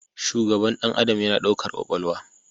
Shugaban ɗan adam yana ɗaukar kwakwalwa